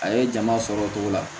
A ye jama sɔrɔ o cogo la